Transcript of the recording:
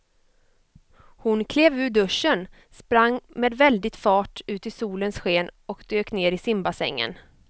Hon klev ur duschen, sprang med väldig fart ut i solens sken och dök ner i simbassängen.